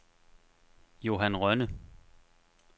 Johan Rønne